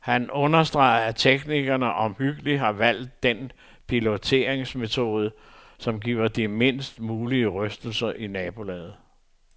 Han understreger, at teknikerne omhyggeligt har valgt den piloteringsmetode, som giver de mindst mulige rystelser i nabolaget.